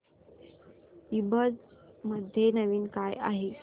ईबझ मध्ये नवीन काय आहे